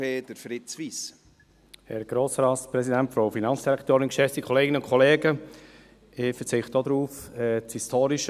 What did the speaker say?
Ich verzichte ebenfalls darauf, den historischen Kontext nochmals aufzurollen.